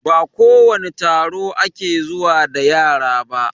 Ba kowane taro ake zuwa da yara ba